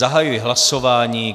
Zahajuji hlasování.